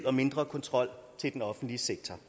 og mindre kontrol i den offentlige sektor